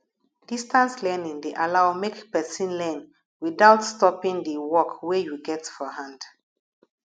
distance learning de allow make persin learn without stoping di work wey you get for hand